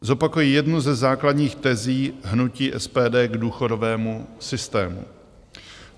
Zopakuji jednu ze základních tezí hnutí SPD k důchodovému systému.